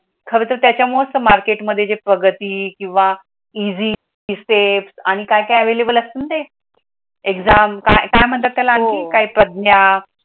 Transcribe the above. खर तर त्याच्यामुळेच मार्केटमध्ये जे प्रगती किंवा इझी स्टेप्स आणि काय काय available असत न ते, एक्झाम काय मंतात आणखी काय परदमय